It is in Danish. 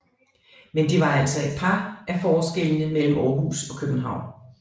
Men det var altså et par af forskellene mellem Aarhus og København